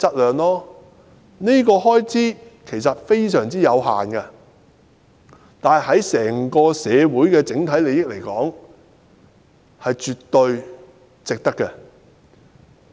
這方面的開支非常有限，但對於整個社會的整體利益而言是絕對值得推行。